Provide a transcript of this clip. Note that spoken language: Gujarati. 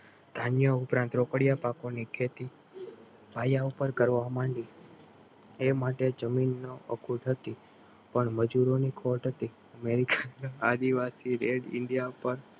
જાન્યુ પ્રાંત રોકડિયા પાકોની ખેતી પાયા ઉપર કરવા માંડી એ માટે જમીનો અખોડ હતી પણ મજૂરોની ખોટ હતી આદિવાસી રેડ ઇન્ડિયા ઉપર